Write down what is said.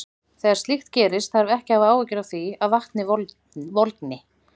Þegar slíkt gerist þarf ekki að hafa áhyggjur af því að vatnið volgni.